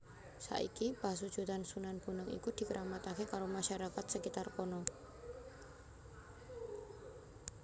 Saiki pasujudan Sunan Bonang iku dikramataké karo masyarakat skitar kana